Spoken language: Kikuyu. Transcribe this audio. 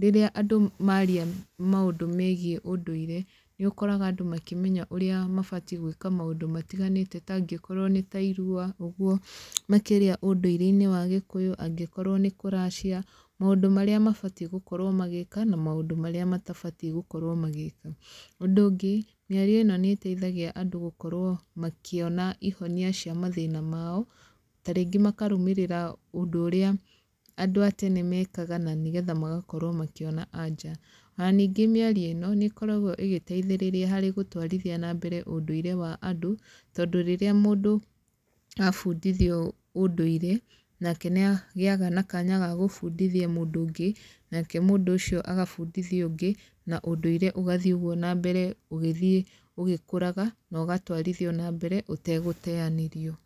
rĩrĩa andũ maria maũndũ megiĩ ũndũire, nĩ ũkoraga andũ makĩmenya ũrĩa mabatiĩ gwĩka maũndũ matiganĩte ta angĩkorwo nĩ ta irua ũguo, makĩria ũndũire-inĩ wa gĩkũyũ, angĩkorwo nĩ kũracia. Maũndũ marĩa mabatiĩ gũkorwo magĩka, na maũndũ marĩa matabatiĩ gũkorwo magĩka. Ũndũ ũngĩ, mĩario ĩno nĩ ĩteithagia andũ gũkorwo makĩona ihonia cia mathĩna mao, ta rĩngĩ makarũmĩrĩra ũndũ ũrĩa andũ a tene mekaga, na nĩgetha magakorwo makĩona anja. Ona ningĩ mĩario ĩno, nĩ ĩkoragwo ĩgĩteithĩrĩria harĩ gũtwarithia na mbere ũndũire wa andũ, tondũ rĩrĩa mũndũ abundithio ũndũire, nake nĩ agĩaga na kanya ga gũbundithia mũndũ ũngĩ, nake mũndũ ũcio agabundithia ũngĩ, na ũndũire ũgathiĩ ũguo na mbere ũgĩthiĩ ũgĩkũraga, no ũgatwarithio na mbere, ũtegũteanĩrio.